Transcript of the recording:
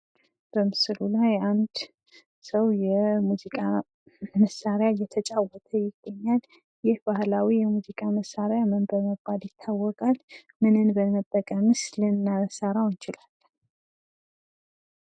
በምስሉ ላይ አንድ ሰው የሙዚቃ መሳሪያ እየተጫወተ ይገኛል። ይህ ባህላዊ የሙዚቃ መሳሪያ ምን በመባል ይታወቃል? ምንን በመጠቀምስ ልንሠራው እንችላለን?